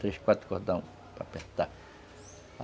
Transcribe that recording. Três, quatro cordões para apertar.